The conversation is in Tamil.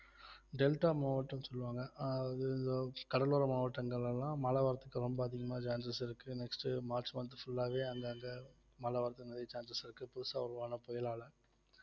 டெல்டா மாவட்டம்னு சொல்லுவாங்க அஹ் கடலோர மாவட்டங்கள்ல எல்லாம் மழ வரதுக்கு ரொம்ப அதிகமா chances இருக்கு next உ மார்ச் month உ full லாவே அங்கங்க மழ வரதுக்கு நிறைய chances இருக்கு புதுசா உருவான புயலால